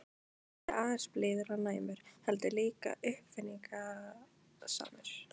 Ekki aðeins blíður og næmur- heldur líka uppáfinningasamur.